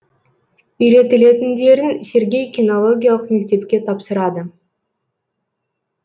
үйретілетіндерін сергей кинологиялық мектепке тапсырады